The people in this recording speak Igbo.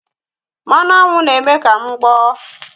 Mmanụ aṅụ na-eme ka m gboọ́